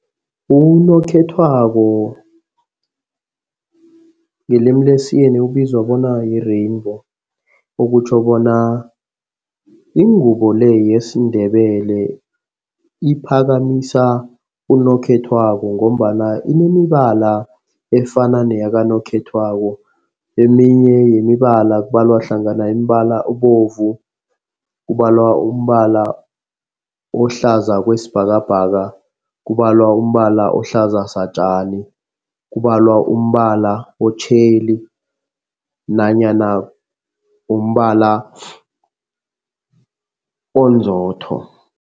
Unokhethwako ngelimi lesiyeni ubizwa bona yi-rainbow okutjho bona ingubo le yesiNdebele iphakamisa unokhethwako ngombana inemibala efana neyakanokhethwako. Eminye yemibala kubalwa hlangana umbala obovu, kubalwa umbala ohlaza kwesibhakabhaka, kubalwa umbala ohlaza satjani, kubalwa umbala otjheli nanyana umbala onzotho.